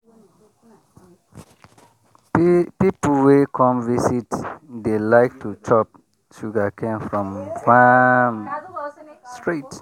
people wey come visit dey like to chop sugarcane from farm straight.